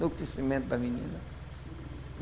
No crescimento da menina.